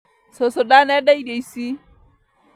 Cũcũ ndanenda irio ici